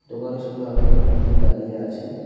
দোকানের সামনে অনেক মানুষজন দাঁড়িয়ে আছে।